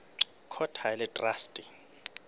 court ha e le traste